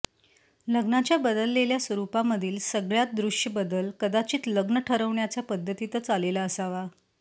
लग्नाच्या बदललेल्या स्वरूपामधील सगळ्यात दृश्य बदल कदाचित लग्न ठरवण्याच्या पद्धतीतच आलेला असावा